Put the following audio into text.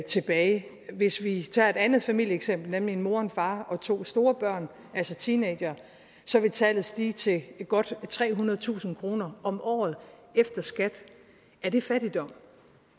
tilbage hvis vi tager et andet familieeksempel nemlig en mor og en far og to store børn altså teenagere så vil tallet stige til godt trehundredetusind kroner om året efter skat er det fattigdom